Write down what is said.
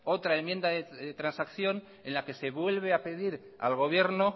otra enmienda de transacción en la que se vuelve a pedir al gobierno